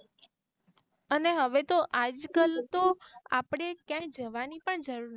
અને હવે તો આજ કલ તો આપળે ક્યાંય જવાની પણ જરૂર.